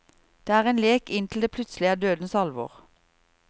Det er en lek inntil det plutselig er dødsens alvor.